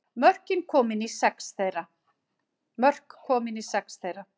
Mörk komin í sex þeirra